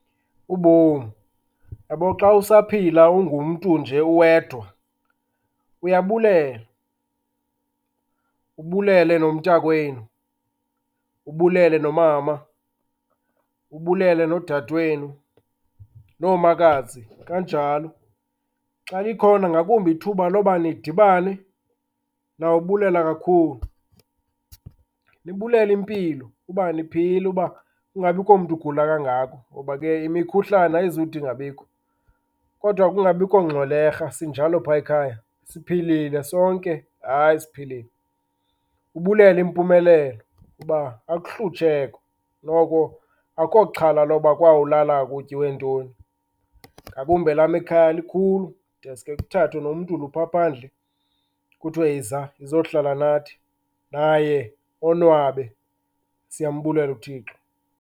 Ubomi, uyabo xa usaphila ungumntu nje uwedwa, uyabulela. Ubelele nomntakwenu, ubulele nomama, ubulele nodadewenu, noomakazi kanjalo. Xa likhona ngakumbi ithuba loba nidibane, nawubulela kakhulu. Nibulele impilo, uba niphila, uba kungabikho mntu ugula kangako ngoba ke imikhuhlane ayizude ingabikho. Kodwa kungabikho ngxwelerha, sinjalo phaa ekhaya, siphilile sonke. Hayi, siphilile. Ubulele impumelelo uba akuhlutshekwa, noko akukho xhala loba kwawulalwa kutyiwe ntoni. Ngakumbi elam ikhaya likhulu, deske kuthathwe nomntu lo uphaa phandle kuthiwe yiza, yizohlala nathi, naye onwabe. Siyambulela uThixo.